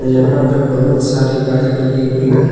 यहां पे बहुत सारी गाड़ी लगी हुई है।